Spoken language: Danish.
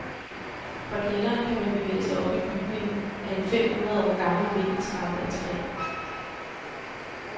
Fra kælderen kan man bevæge sig op i bygningen ad en fem hundrede år gammel vindeltrappe af træ.